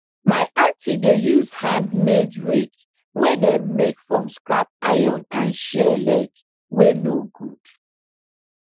my aunty dey use handmade rake wey dem make from scrap iron and chair leg wey no good